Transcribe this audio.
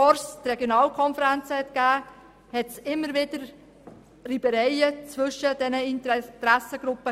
Bevor es die Regionalkonferenzen gab, entstanden immer wieder Reibereien zwischen diesen Interessengruppen.